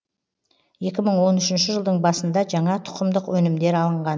екі мың он үшінші жылдың басында жаңа тұқымдық өнімдер алынған